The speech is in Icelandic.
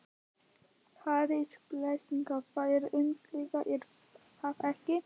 Hersir, frelsið, það er yndislegt er það ekki?